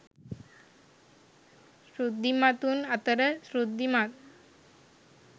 ඍද්ධිමතුන් අතර ඍද්ධිමත්,